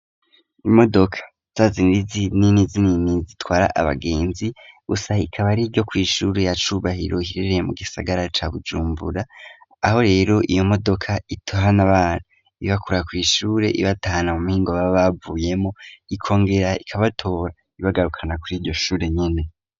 Imodoka za zindi zinini zinini zitwara abagenzi busa ikaba ari ryo kw'ishuru ya cubahiro hirereye mu gisagara ca bujumbura aho rero iyo modoka itohana abana ibakura kw'ishure ibatana mu mpingo ba bavuyemo ikongera ikabatora ibagarukana kuri iryo shure nyene.